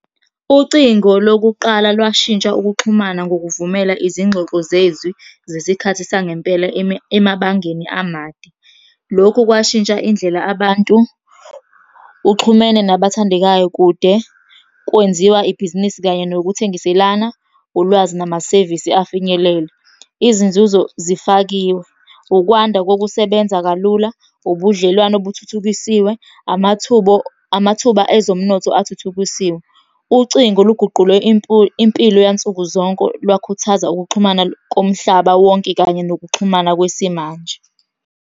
Ucingo lokuqala lwashintsha ukuxhumana ngokuvumela izingxoxo zezwi zesikhathi sangempela emabangeni amade. Lokhu kwashintsha indlela abantu. Uxhumene nabathandekayo kude, kwenziwa ibhizinisi kanye nokuthengiselana ulwazi namasevisi afinyelele. Izinzuzo zifakiwe. Ukwanda kokusebenza kalula, ubudlelwane obuthuthukisiwe, amathuba , amathuba ezomnotho athuthukisiwe. Ucingo luguqule impilo yansuku zonke lwakhuthaza ukuxhumana komhlaba wonke kanye nokuxhumana kwesimanje.